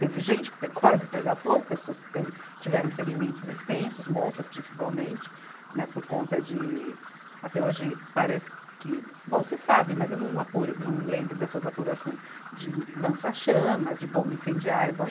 Teve gente que pe, quase pega fogo, pessoas que teve, tiveram ferimentos extensos, moças principalmente, né, por conta de, até hoje parece que, bom, se sabe, mas eu não apure, não lembro dessas apurações de lança-chamas, de bomba incendiária. Bom